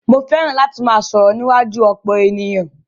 Mó fẹràn láti máà sọ̀rọ̀ níwájú ọ̀pọ̀ ènìyàn.